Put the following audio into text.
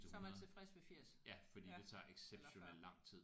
Så er man tilfreds ved 80 ja eller før